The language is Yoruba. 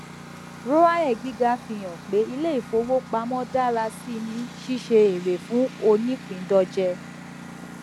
roae gíga fi hàn pé ilé ìfowópamọ dára síi ní ṣíṣe ère fún onípindòje